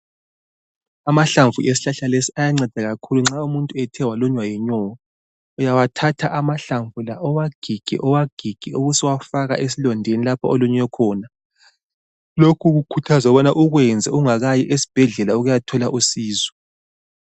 Amahlamvu esihlahla lesi ayanceda nxa umuntu ethe walunywa yinyoka. Uyathatha amahlamvu lawa uwagige uwagige ubusuwafaka esilondeni lapho olunywe khona. Lokhu kukhuthazwa ukubana ukwenze ungakayi esibhedlela ukuyathola usizo.